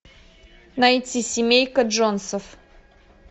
найти семейка джонсов